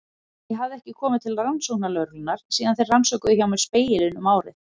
Ég hafði ekki komið til rannsóknarlögreglunnar síðan þeir rannsökuðu hjá mér Spegilinn um árið.